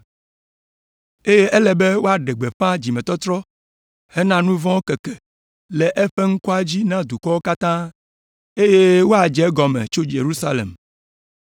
Eye ele be woaɖe gbeƒã dzimetɔtrɔ hena nu vɔ̃wo tsɔtsɔke le eƒe ŋkɔa dzi na dukɔwo katã, eye woadze egɔme tso Yerusalem.